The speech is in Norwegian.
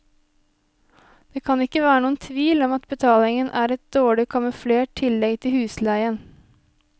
Det kan ikke være noen tvil om at betalingen er et dårlig kamuflert tillegg til husleien.